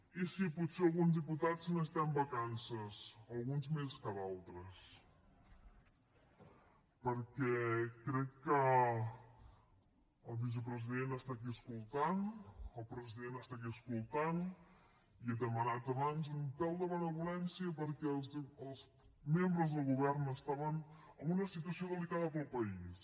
i sí potser alguns diputats necessitem vacances alguns més que d’altres perquè crec que el vicepresident està aquí escoltant el president està aquí escoltant i he demanat abans un pèl de benevolència perquè els membres del govern estaven en una situació delicada per al país